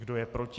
Kdo je proti?